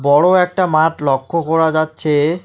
বড়ো একটা মাঠ লক্ষ করা যাচ্ছে।